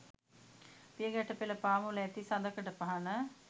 පිය ගැට පෙළ පාමුල ඇති සඳකඩ පහණ